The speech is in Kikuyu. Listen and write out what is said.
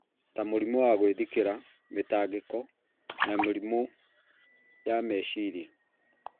ta mũrimũ wa gwĩthikĩra, mĩtangĩko na mĩrimũ ya meciria.